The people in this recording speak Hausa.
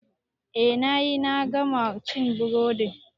I nayi, na gama cin burodin